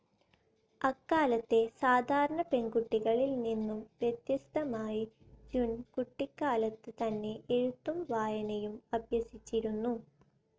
അക്കാലത്തെ സാധാരണ പെൺകുട്ടികളിൽ നിന്നും വ്യത്യസ്തമായി ജുൻ കുട്ടിക്കാലത്ത് തന്നെ എഴുത്തും വായനയും അഭ്യസിച്ചിരുന്നു..